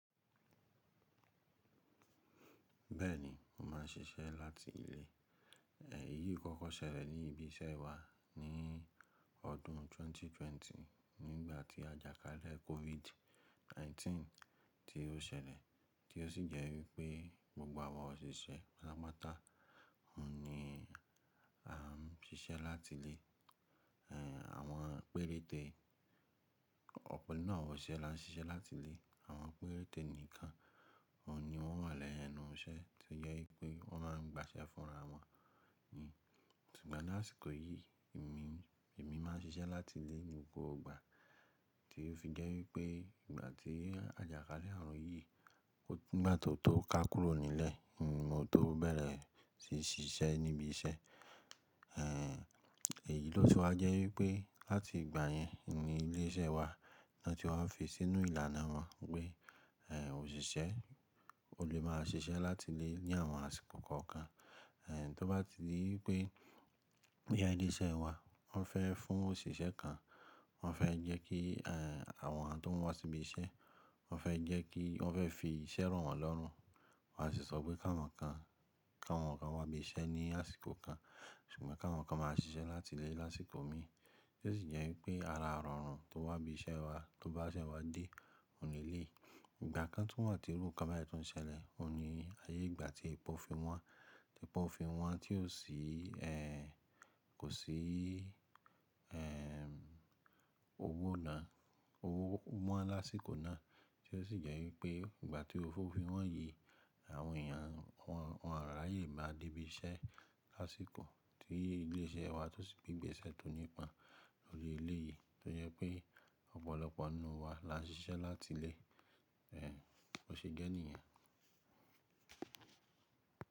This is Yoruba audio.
Bẹ́ẹ̀ni, mo má ń ṣiṣẹ́ láti ilé. Èyí kọ́kọ́ ṣẹlẹ̀ ní ibi iṣẹ́ wa ni ọdún 2020 nígbà tí àjàkálẹ̀ COVID-19 tí ó ṣẹlẹ̀, tí ó sì jẹ́ wípé gbogbo àwa òṣìṣẹ́ patápatá oun ni a ń ṣiṣẹ́ láti ilé. Àwọn péréte, ọ̀pọ̀ nínú àwa osiṣẹ́ la ń ṣiṣẹ́ láti ilé. Àwọn péréte nìkan oun ni wọ́n wà lẹ́nu iṣẹ́ tí ó jẹ́ wípé wọ́n má ń gbaṣẹ́ fúnra wọn. Ṣùgbọ́n ni ásìkò yìí èmi, èmi má ń ṣiṣẹ́ láti ilé nì gbogbo igbà tí ó fi jẹ́ wípé ìgbà tí àjàkálẹ̀ àrùn yìí nígbà tó tó ká kúrò nílẹ̀, ni mo tó bẹ̀rẹ̀ sí í ṣiṣẹ́ níbi iṣẹ́. Èyí ló se wa jẹ́ wípé láti ìgbà yẹn ni ilé iṣẹ́ wa lọ́n tí wa fi sínú ìlànà wọn pé, òṣìṣẹ́ ò lè máa ṣiṣẹ́ láti ilé ní àwọn àsìkò kọ̀ọ̀kan. Tó bá ti di wipé boya ile iṣẹ́ wa wọ́n fẹ́ fún òṣìṣẹ́ kan, wọ́n fẹ́ jẹ́ kí, àwọn tó ń wá sí ibi iṣẹ́, wọ́n fẹ́ jẹ́ kí wọ́n fẹ́ fi iṣẹ́ ro wọ́n lọ́run. Wọn á sì sọ pé ká wọ́n kan, ká won kan wá ibi iṣẹ́ ní àsìkò kan ṣùgbọ́n ká won kan má a ṣiṣẹ́ láti ilé lásìkò mi. Tó sì jẹ́ wípé ara irọrùn tó wá ibi iṣẹ́ wa, tó bá ṣẹ wá dé, òun ní eleyii. Ìgbà kan tun wa tí iru nnkan bayii tún ṣẹlẹ̀, òun ní ayé ìgbà tí epò fi wọn, tí epò fi wọn tí ó sì, kò sí, owó ná, owó won lásìkò náà. Tó sì jẹ́ wípé ìgbà tí ófo fi wọn yìí àwọn èèyàn, àwọn, àwọn ará ayé máa dé ibi iṣẹ́ lásìkò tí ilé iṣẹ́ wa tó sì gbé ìbẹ̀ṣẹ́ tó nípa lórí ilé yìí tí ó jẹ́ pé ọ̀pọ̀lọpọ̀ nínú wa la ń ṣiṣẹ́ láti ilé. Bó ṣe jẹ́ nìyen.